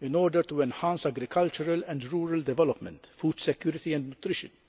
in order to enhance agricultural and rural development, food security and nutrition.